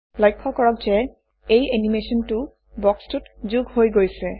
লক্ষ্য কৰক যে এই এনিমেচনটো বক্সটোত যোগ হৈ গৈছে